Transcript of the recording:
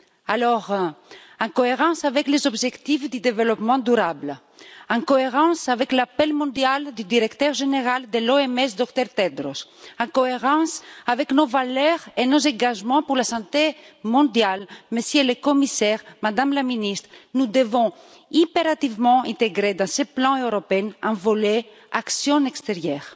Alors, en cohérence avec les objectifs du développement durable, en cohérence avec l'appel mondial du directeur général de l'OMS, le Dr Tedros, en cohérence avec nos valeurs et nos engagements pour la santé mondiale, Monsieur le Commissaire, Madame la Ministre, nous devons impérativement intégrer dans ce plan européen un volet action extérieure,